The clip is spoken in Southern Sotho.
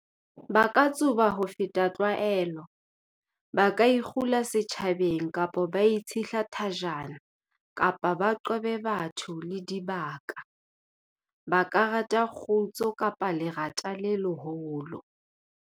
"Ba ka tsuba ho feta tlwaelo, ba ka ikgula setjhabeng kapa ba itshehla thajana kapa ba qobe batho le dibaka. Ba ka rata kgutso kapa lerata le leholo."